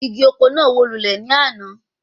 Igi oko náà wó lulẹ̀ ní àná